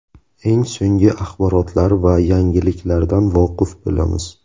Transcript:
Eng so‘nggi axborotlar va yangiliklardan voqif bo‘lamiz.